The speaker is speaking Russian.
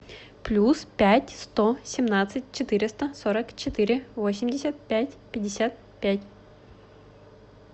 плюс пять сто семнадцать четыреста сорок четыре восемьдесят пять пятьдесят пять